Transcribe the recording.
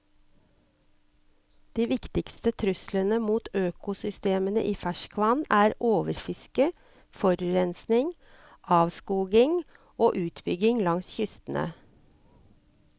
De viktigste truslene mot økosystemene i ferskvann er overfiske, forurensning, avskoging og utbygging langs kystene.